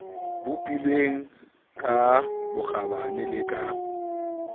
bopilweng ka bokgabane le ka